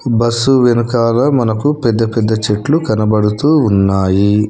Bus వెనకాల మనకు పెద్ద పెద్ద చెట్లు కనబడుతూ ఉన్నాయి.